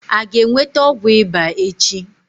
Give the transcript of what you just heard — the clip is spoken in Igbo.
A ga-enweta ọgwụ ịba echi?